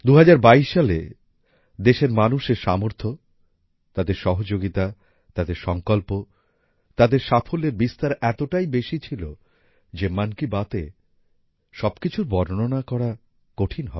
২০২২ সালে দেশের মানুষের সামর্থ্য তাদের সহযোগিতা তাদের সঙ্কল্প তাদের সাফল্যের বিস্তার এতটাই বেশি ছিল যে মন কি বাতএ সবকিছুর বর্ণনা করা কঠিন হবে